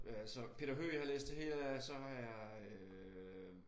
Altså Peter Høeg har jeg læst det hele af så har jeg øh